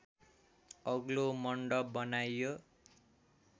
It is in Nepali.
अग्लो मन्डप बनाइयो